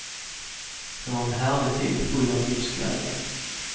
Det var en härlig tid full av livsglädje.